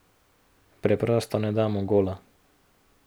Preprosto ne damo gola.